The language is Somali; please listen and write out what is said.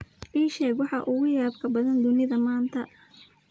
ii sheeg waxa ugu yaabka badan aduunka maanta